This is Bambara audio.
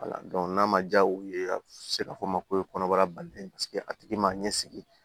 n'a ma diya u ye a bɛ se k'a fɔ ma ko kɔnɔbara balilen paseke a tigi ma ɲɛ sigi